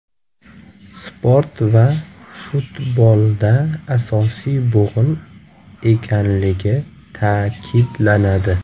Sport va futbolda asosiy bo‘g‘in ekanligi ta’kidlanadi.